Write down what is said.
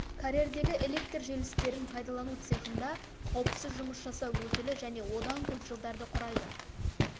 карьердегі электр желістерін пайдалану цехында қауіпсіз жұмыс жасау өтілі және одан көп жылдарды құрайды